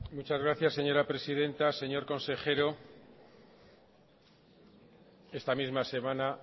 muchas gracias señora presidenta señor consejero esta misma semana